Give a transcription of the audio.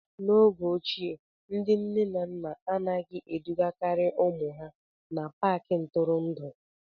N'oge ochie, ndị nne na nna anaghị edugakarị ụmụ ha n'Paakị ntụrụndụ